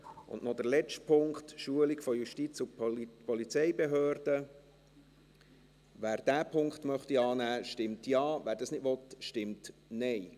Und noch zum letzten Punkt, Schulung von Justiz- und Polizeibehörden: Wer diesen Punkt annehmen möchte, stimmt Ja, wer das nicht will, stimmt Nein.